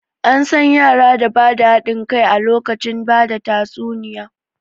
An san yara da ba da haɗin kai a lokacin bada tatsuniya